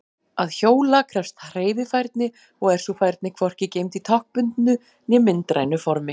Að hjóla krefst hreyfifærni og er sú færni hvorki geymd í táknbundnu né myndrænu formi.